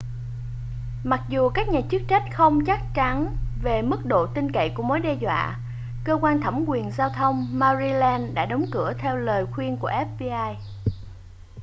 mặc dù các nhà chức trách không chắc chắn về mức độ tin cậy của mối đe dọa cơ quan thẩm quyền giao thông maryland đã đóng cửa theo lời khuyên của fbi